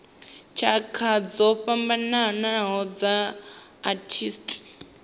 tshakha dzo fhambanaho dza arthritis